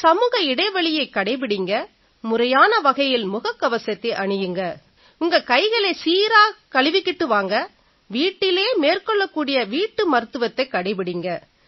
சமூக இடைவெளியைக் கடைபிடியுங்க முறையான வகையில முகக்கவசத்தை அணியுங்க உங்க கைகளை சீரா கழுவிகிட்டு வாங்க வீட்டிலேயே மேற்கொள்ளக்கூடிய வீட்டு மருத்துவத்தை கடைபிடியுங்க